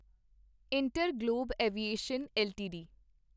InterGlobe aviation LTD